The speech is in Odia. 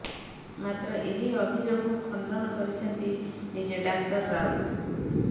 ମାତ୍ର ଏହି ଅଭିଯୋଗକୁ ଖଣ୍ଡନ କରିଛନ୍ତି ନିଜେ ଡାକ୍ତର ରାଉତ